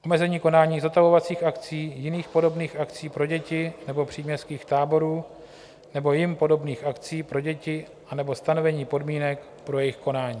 Omezení konání zotavovacích akcí, jiných podobných akcí pro děti nebo příměstských táborů nebo jim podobných akcí pro děti anebo stanovení podmínek pro jejich konání.